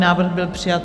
Návrh byl přijat.